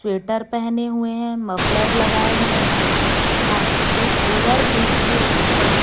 sweater पहने हुए हैं मफलर लगाए हुए हैं तथा एक ओवर ब्रिज के ऊपर--